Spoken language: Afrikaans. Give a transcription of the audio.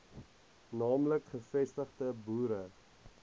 naamlik gevestigde boere